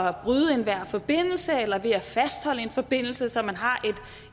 at bryde enhver forbindelse eller ved at fastholde en forbindelse så man har